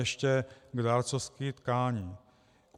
Ještě k dárcovství tkání.